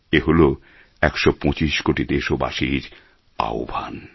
এ হল একশো পঁচিশ কোটি দেশবাসীর আহ্বান